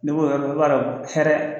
Ni n ko i b'a dɔn hɛrɛ